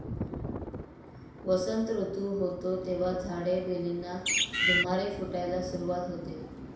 वसंत सुरू होतो, तेव्हा झाडे, वेलींना धुमारे फुटायला सुरुवात होते.